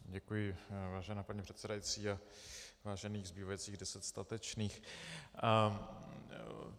Děkuji, vážená paní předsedající a vážených zbývajících deset statečných.